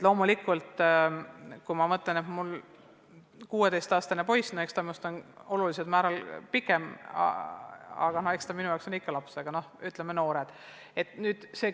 Loomulikult, kui mul on 16-aastane poeg, kes on minust on märksa pikem, on ta minu jaoks on ikka "laps", aga üldiselt tuleb nende kohta öelda "noor".